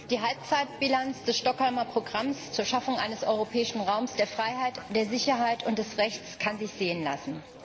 Die Halbzeitbilanz des Stockholmer Programms zur Schaffung eines Europäischen Raums der Freiheit, der Sicherheit und des Rechts kann sich sehen lassen.